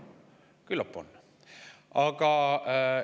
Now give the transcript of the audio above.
Nii et küllap on.